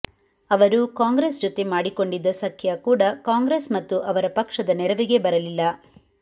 ಅವರು ಕಾಂಗ್ರೆಸ್ ಜೊತೆ ಮಾಡಿಕೊಂಡಿದ್ದ ಸಖ್ಯ ಕೂಡ ಕಾಂಗ್ರೆಸ್ ಮತ್ತು ಅವರ ಪಕ್ಷದ ನೆರವಿಗೆ ಬರಲಿಲ್ಲ